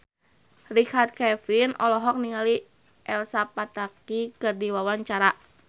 Richard Kevin olohok ningali Elsa Pataky keur diwawancara